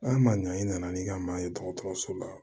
An ma ɲa i nana ni ka maa ye dɔgɔtɔrɔso la